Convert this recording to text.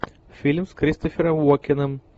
фильм с кристофером уокеном